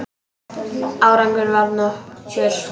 Árangur varð nokkur.